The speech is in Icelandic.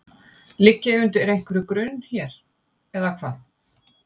Ligg ég undir einhverjum grun hér, eða hvað?